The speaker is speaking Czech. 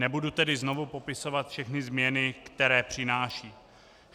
Nebudu tedy znovu popisovat všechny změny, které přináší.